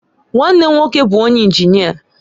Nwanne m nwoke bu onye injinia